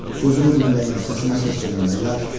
Sözümü dinləyin, səsimə səs verin, bəylər!